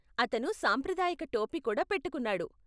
అతను సాంప్రదాయక టోపీ కూడా పెట్టుకున్నాడు.